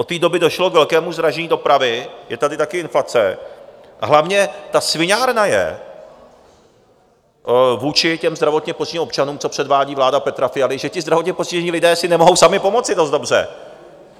Od té doby došlo k velkému zdražení dopravy, je tady taky inflace, a hlavně ta sviňárna je vůči těm zdravotně postiženým občanům, co předvádí vláda Petra Fialy, že ti zdravotně postižení lidé si nemohou sami pomoci dost dobře.